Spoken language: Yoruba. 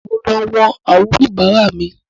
Mo ń lọ wọ̀n àwọn oníbàárà mi